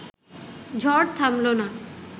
ঝড় থামল না